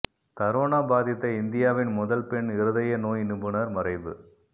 corona பாதித்த இந்தியாவின் முதல் பெண் இருதய நோய் நிபுணர் மறைவு